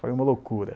Foi uma loucura.